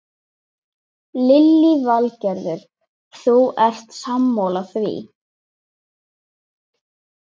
Lillý Valgerður: Þú ert sammála því?